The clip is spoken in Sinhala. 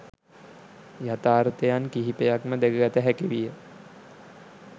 යථාර්ථයන් කිහිපයක්ම දැකගත හැකි විය